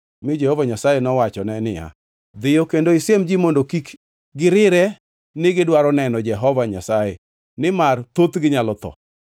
mi Jehova Nyasaye nowachone niya, “Dhiyo kendo isiem ji mondo kik girire ni gidwaro neno Jehova Nyasaye nimar thothgi nyalo tho.